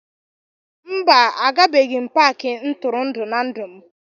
mba, Agabeghị m Paakị ntụrụndụ na ndụ m